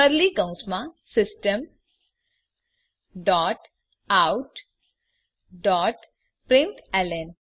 curly કૌંસમાં system dot out dot println